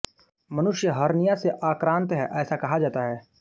मनुष्य हर्निया से आक्रांत है ऐसा कहा जाता है